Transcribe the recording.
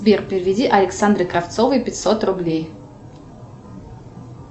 сбер переведи александре кравцовой пятьсот рублей